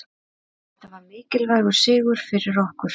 Þetta var mikilvægur sigur fyrir okkur